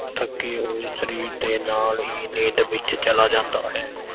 ਥੱਕੇ ਹੋਏ ਸਰੀਰ ਦੇ ਨਾਲ ਹੀ ਨੀਂਦ ਵਿੱਚ ਚਲਾ ਜਾਂਦਾ ਹੈ।